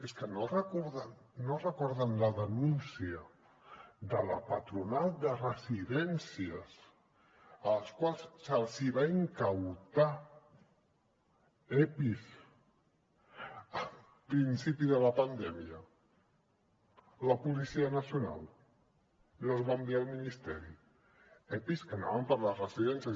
és que no recorden la denúncia de la patronal de residències a les quals els van requisar epis al principi de la pandèmia la policia nacional i els va enviar al ministeri epis que anaven per a les residències